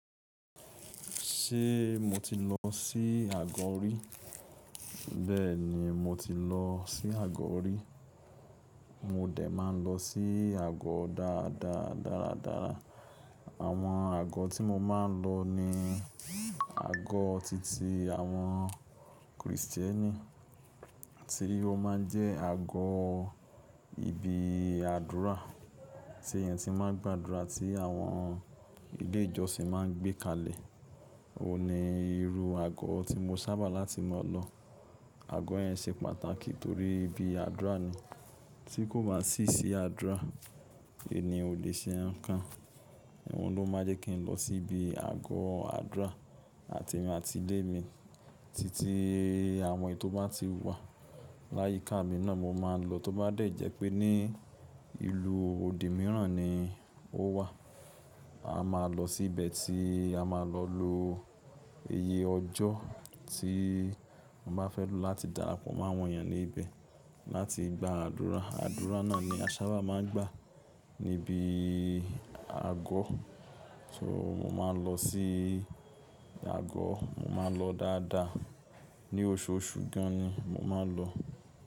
Ṣé mo ti lọ sí àgọ́ orí? Bẹ́ẹ̀ni mo ti lọ sí àgọ́ orí. Mo dẹ̀ máa ń lọ sí àgọ́ dáadáa dáadáa. Àwọn àgọ́ tí mo máa ń lọ ní àgọ́ titi awon Kristieni, ti o máa ń jẹ àgọ́ ibi àdúrà tí èèyàn ti máa ń gbàdúrà tí àwọn ilé ìjọsìn máa ń gbé kalẹ̀. O ni irú àgọ́ tí mo sábà láti ma lọ. Àgọ́ yẹn se pàtàkì torí ibi àdúrà ni. Tí kò bá sí si àdúrà, èèyàn ò lè ṣe nǹkan. Ohun ló máa jẹ́ kí n lọ sí ibi àgọ́ àdúrà àti emi àti ilé mi titi àwọn ètò bá ti wà. Láyíká mi náà mo máa ń lọ tóbá dẹ̀ jẹ́ pé ní ìlú òdi mìíràn ni ó wà. A máa lọ sí ibẹ̀ tí a máa lọ lo iye ọjọ́ tí mo bá fẹ́ lò láti darapọ̀ mọ́ àwọn èèyàn ní ibẹ̀ láti gba àdúrà. Àdúrà náà ni a sábà máa ń gbà níbi àgọ́. So mo máa lọ sí àgọ́, mo máa n lọ dáadáa. Ni oṣooṣù gan ni mo máa ń lọ.